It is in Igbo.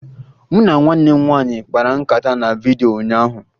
Mụ na nwanne m nwaanyị kpara nkata na vidyo ụnyaahụ